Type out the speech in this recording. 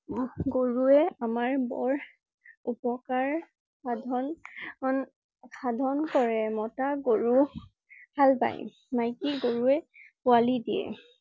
গৰুৱে আমাৰ বৰ উপকাৰ সাধন~ন~সাধন কৰে। মতা গৰু হাল বাই। মাইকী গৰুৱে পোৱালি দিয়ে।